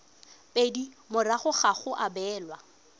pedi morago ga go abelwa